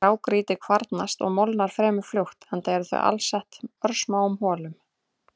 Grágrýti kvarnast og molnar fremur fljótt enda er það alsett örsmáum holum.